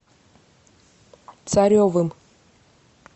царевым